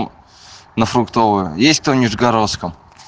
на фруктовую есть кто в нижегородском